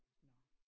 Nåh